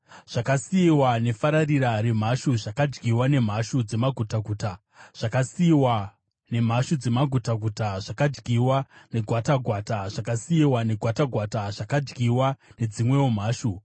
Zvakasiyiwa nefararira remhashu zvakadyiwa nemhashu dzemagutaguta; zvakasiyiwa nemhashu dzemagutaguta zvakadyiwa negwatagwata; zvakasiyiwa negwatagwata zvakadyiwa nedzimwewo mhashu.